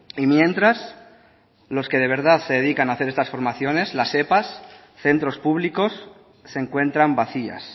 y mientras los que de verdad se dedican a hacer estas formaciones las epa centros públicos se encuentran vacías